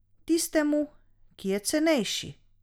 Tistemu, ki je cenejši?